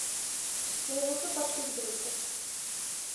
мне нужно подшить брюки